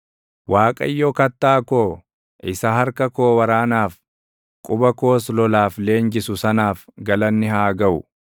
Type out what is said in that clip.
Waaqayyo kattaa koo, isa harka koo waraanaaf, quba koos lolaaf leenjisu sanaaf galanni haa gaʼu.